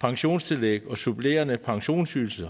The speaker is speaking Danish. pensionstillæg og supplerende pensionsydelser